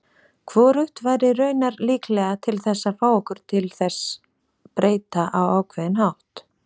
Hvorugt væri raunar líklega til þess að fá okkur til þess breyta á ákveðinn hátt.